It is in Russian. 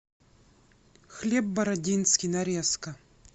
хлеб бородинский нарезка